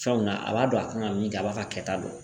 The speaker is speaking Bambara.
Fɛnw na a b'a dɔn a kan ka min kɛ a b'a ka kɛta dɔn